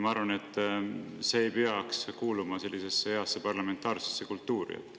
Ma arvan, et see ei peaks kuuluma hea parlamentaarse kultuuri juurde.